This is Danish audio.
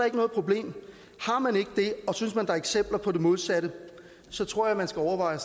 ikke noget problem har man ikke det og synes man er eksempler på det modsatte så tror jeg man skal overveje